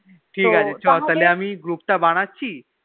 ঠিকাছে ছ তাহলে আমি Group তা বানাচ্ছি